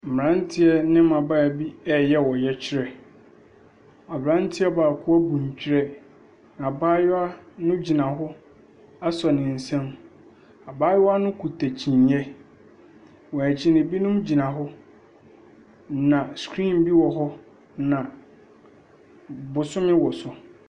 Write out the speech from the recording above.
Mmranteɛ bi ne mmabaawa bi reyɛ ɔyɛkyerɛ. Abranteɛ baako abu nterɛ. Na abaayewa no gyina hɔ asɔ ne nsam. Abayewa no kita kyiniiɛ. Wɔn akyi no, ebinom gyina hɔ. Na screen bi wɔ hɔ, na bosome wɔ so.